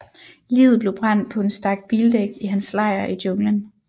Liget blev brændt på en stak bildæk i hans lejr i junglen